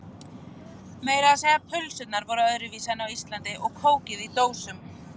Meira að segja pulsurnar voru öðruvísi en á Íslandi og kókið í dósum.